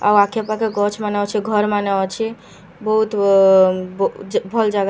ଆଉ ଆଖେପାଖେ ଗଛମାନେ ଅଛେ ଘରମାନେ ଅଛେ ବହୁତ ଭଲ ଜାଗା--